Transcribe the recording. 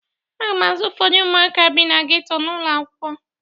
Aga m azụ ụfọdụ ụmụaka bi na ghetto n'ụlọ akwụkwọ.